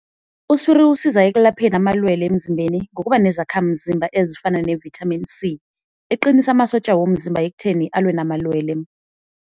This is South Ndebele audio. Uswiri usiza ekulapheni amalwele emzimbeni ngokuba nezakhamzimba ezifana ne-Vitamin C, eqinisa amasotja womzimba ekutheni alwe namalwelwe.